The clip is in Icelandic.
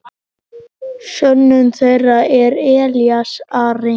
Sonur þeirra er Elías Ari.